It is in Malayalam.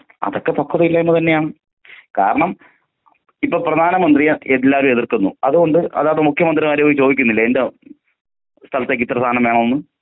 അതൊക്കെ പക്വത ഇല്ലായ്മ തന്നെയാണ്.കാരണം ഇപ്പോ പ്രധാന മന്ത്രിയെ എല്ലാരും എതിർക്കുന്നു അതു കൊണ്ട് അതാത് മുഖ്യ മന്ത്രിമാരോട് ചോദിക്കുന്നില്ലേ എന്റെ സ്ഥലത്തേക്ക് ഇത്ര സാനം വേണോന്ന്.